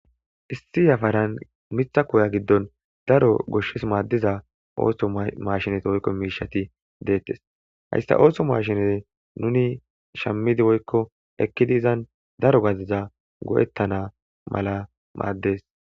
issi yafaran mitha koya giddon daro goshshes maaddiza ooso mashinate woykko miishati deettes hayssa ooso maashinete nuni shammidi woykko ekkidi izan daro gadiza go7ettanamala maaddes